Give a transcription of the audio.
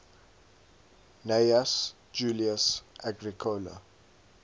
gnaeus julius agricola